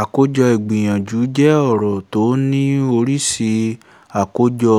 àkójọ ìgbìyànjú jẹ́ ọ̀rọ̀ tó ní oríṣi àkójọ